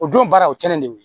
O don baara o cɛnnen de